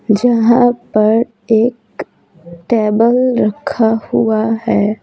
जहाँ पर एक टेबल रखा हुआ है।